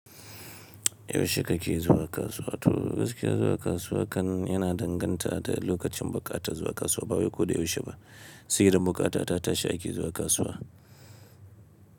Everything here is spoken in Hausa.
Yaushe kake zuwa kasuwa? To gaskiya zuwa kasuwa kan yana danganta da lokacin buƙata zuwa kasuwa. Ba wai ko da yaushe ba, sai idan bukatata tashi ake zuwa kasuwa.